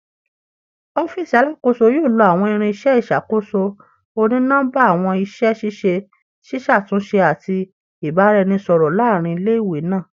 Ọfiisi Alakoso yoo lo awọn irinṣẹ iṣakoso oni-nọmba, awọn iṣẹ ṣiṣe ṣiṣatunṣe ati ibaraẹnisọrọ laarin ile-iwe naa